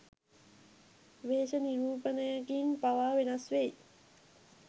වේශ නිරූපණයකින් පවා වෙනස් වෙයි.